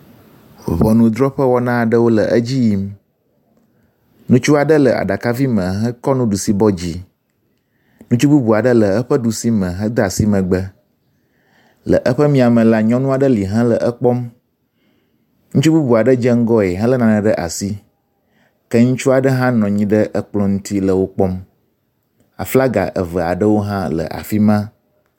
Ŋɔnudrɔƒe wɔna aɖewo le edzi yim. Ŋutsu aɖe le aɖakavi me hekɔ nuɖusi bɔ dzi. Ŋutsu bubua aɖe le eƒe ɖusi me heda asi megbe le eƒe miame la, nyɔnua ɖe li hele ekpɔm. Ŋutsu bubu aɖe adze ŋgɔe hele nane ɖe asi ke ŋutsua ɖe hã nɔ anyi ɖe ekplɔ ŋti le wo kpɔm. aflaga evea ɖewo hã le afi ma.